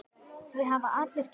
Því hafa allir kynnst.